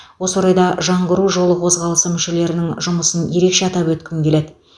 осы орайда жаңғыру жолы қозғалысы мүшелерінің жұмысын ерекше атап өткім келеді